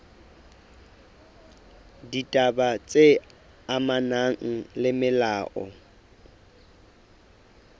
ditaba tse amanang le molao